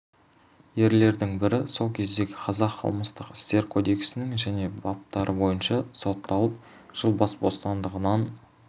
ерлердің бірі сол кездегі қазақ қылмыстық істер кодексінің және баптары бойынша сотталып жыл бас бостандығынан